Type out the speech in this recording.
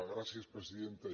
gràcies presidenta